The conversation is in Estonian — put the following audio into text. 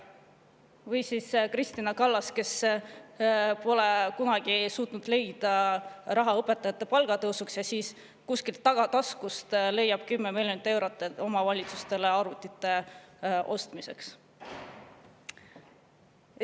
Või Kristina Kallas, kes ei suutnud leida raha õpetajate palga tõusuks, aga siis ta kuskilt tagataskust leiab 10 miljonit eurot omavalitsustele arvutite ostmiseks.